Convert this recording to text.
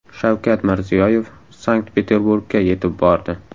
Shavkat Mirziyoyev Sankt-Peterburgga yetib bordi.